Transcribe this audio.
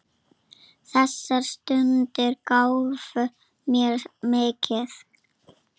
Þessar stundir gáfu mér mikið.